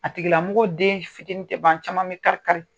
A tigila mɔgɔ den fitini tɛ ban caman bi kari- kari.